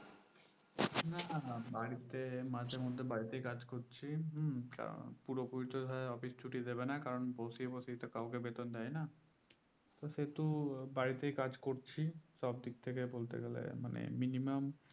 না না বাড়িতে মাঝে মধ্যে বাড়িতেই কাজ করছি হুম তা পুরো পুরি তো ধরো office ছুটি দেবে না কারণ বসি বসি তো কাউকে বেতন দেয় না তো সেহেতু বাড়িতেই কাজ করছি সব দিক থেকে বলতে গেলে মানে minimum